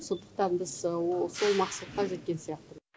сондықтан біз сол мақсатқа жеткен сияқты